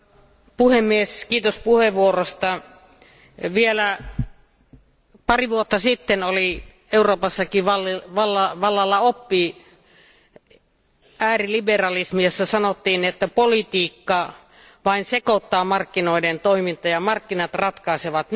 Arvoisa puhemies, kiitos puheenvuorosta. Vielä pari vuotta sitten oli Euroopassakin vallalla oppi, ääriliberalismi, jossa sanottiin, että politiikka vain sekoittaa markkinoiden toimintaa ja että markkinat ratkaisevat.